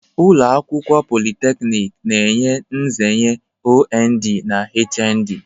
Ụlọ akwụkwọ politeknik na-enye nzere OND na HND.